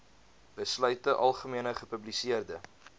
besluite algemene gepubliseerde